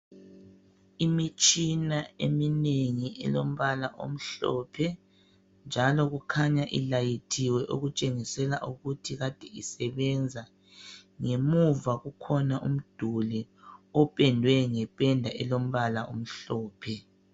Imitshina eminengi elompala omhlophe njalo kukhanya ilayithiwe kutshengisela ukuthi kade isèbenza. Ngemuva kukhona umduli opendwe ngependa elompala omhlophe.